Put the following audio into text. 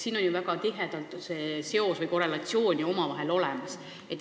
Siin on ju väga tihe seos või korrelatsioon olemas.